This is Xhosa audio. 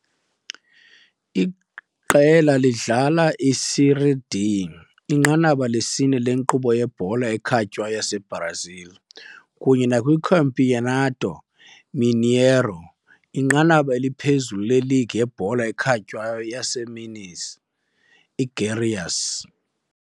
Iqela lidlala eSérie D, inqanaba lesine lenkqubo yebhola ekhatywayo yaseBrazil, kunye nakwiCampeonato Mineiro, inqanaba eliphezulu leligi yebhola ekhatywayo yaseMinas iGerais.